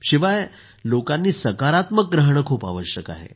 शिवाय लोकांनी सकारात्मक रहाणंही खूप आवश्यक आहे